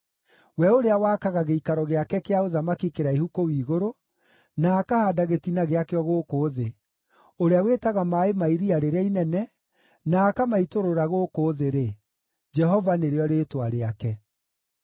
we ũrĩa wakaga gĩikaro gĩake kĩa ũthamaki kĩraihu kũu igũrũ, na akahaanda gĩtina gĩakĩo gũkũ thĩ, ũrĩa wĩtaga maaĩ ma iria rĩrĩa inene, na akamaitũrũra gũkũ thĩ-rĩ, Jehova nĩrĩo rĩĩtwa rĩake.